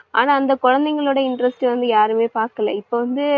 ஆனா அந்த குழந்தைகளோட interest வந்து யாருமே பாக்கல. இப்ப வந்து